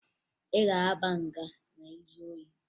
Ị ga-aba nga ma ị zuo ohi?